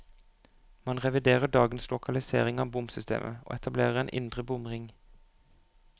Man reviderer dagens lokalisering av bomsystemet, og etablerer en indre bomring.